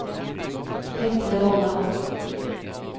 Vetle Vollan